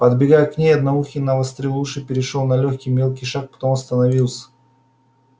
подбегая к ней одноухий навострил уши перешёл на лёгкий мелкий шаг потом остановился